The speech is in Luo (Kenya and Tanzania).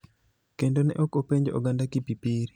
kendo ne ok openjo oganda Kipipiri .